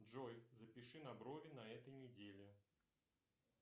джой запиши на брови на этой неделе